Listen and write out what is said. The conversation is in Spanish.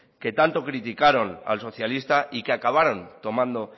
que tanto criticaron al socialista y que acabaron tomando